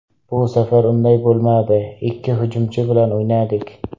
Bu safar unday bo‘lmadi, ikki hujumchi bilan o‘ynadik.